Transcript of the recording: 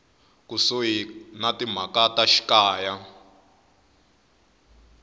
kusuhi ya timhaka ta xikaya